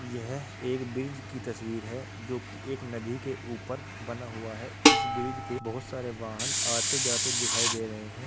यह एक ब्रिज की तस्वीर है जोकि एक नदी के ऊपर बना हुआ है इस ब्रिज पे बहुत सारे वाहन आते जाते दिखाई दे रहे हैं।